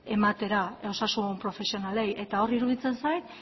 ematera osasun profesionalei eta hor iruditzen zait